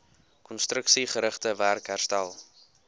konstruksiegerigte werk herstel